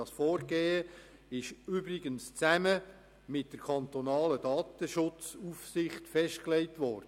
Das Vorgehen ist übrigens zusammen mit der kantonalen Datenschutzaufsicht festgelegt worden.